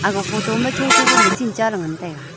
long photo ma cho cho pa machine chaley ngan taiga.